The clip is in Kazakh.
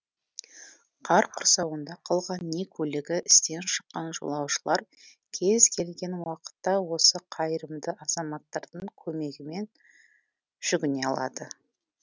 қар құрсауында қалған не көлігі істен шыққан жолаушылар кез келген уақытта осы қайырымды азаматтардың көмегіне жүгіне алады